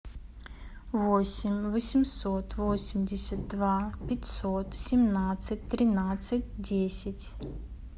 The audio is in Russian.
восемь восемьсот восемьдесят два пятьсот семнадцать тринадцать десять